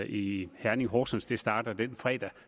i herning og horsens det starter den fredag